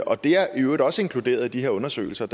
og det er i øvrigt også inkluderet i de her undersøgelser